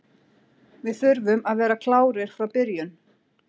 Við þurfum að vera klárir frá byrjun.